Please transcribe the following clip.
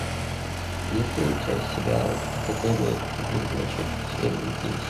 есть ли у тебя сериал академия ведьмочек серия десять